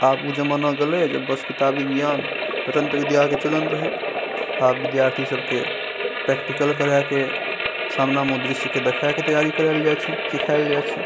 आब उ जमाना गेले जब बस किताबी ज्ञान रटन्तत विद्या के चलन रहे आब विद्यार्थी सब के प्रैक्टिकल करैके सामने में ओ दृश्य के देखाय के तैयारी कराय के जायल छै सिखायल जाय छै।